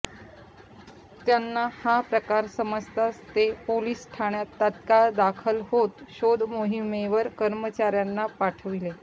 त्यांना हा प्रकार समजताच ते पोलीस ठाण्यात तात्काळ दाखल होत शोध मोहिमेवर कर्मचाऱयांना पाठविले